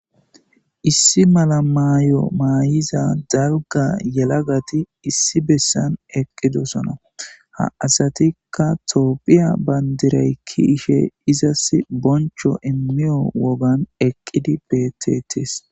issi mala maayo maayiza darga yelagati issi bessan eqqidosona ha asatikka toophiya bayndiray ki ishe izas boncho immiyo wogan eqqidi betetis.